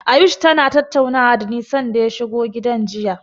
Ayush tana tattaunawa dani sanda ya shigo gidan jiya.